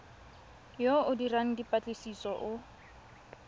yo o dirang dipatlisiso o